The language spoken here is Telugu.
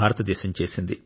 భారతదేశం చేసింది